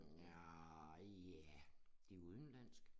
Nja ja det udenlandsk